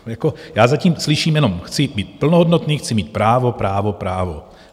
Já zatím slyším jenom: chci být plnohodnotný, chci mít právo, právo, právo...